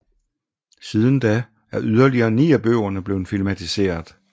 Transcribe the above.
Siden da er yderligere ni af bøgerne blevet filmatiseret